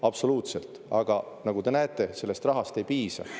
Absoluutselt, aga nagu te näete, sellest rahast ei piisa.